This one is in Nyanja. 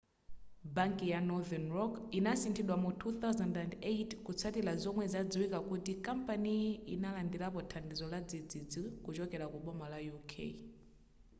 banki ya northern rock inasinthidwa mu 2008 kutsatira zomwe zadziwika kuti kampaniyo inalandirapo thandizo ladzidzidzi kuchokera ku boma la uk